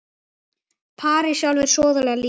París sjálf var sóðaleg líka.